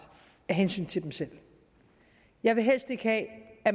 af hensyn til dem selv jeg vil helst ikke have at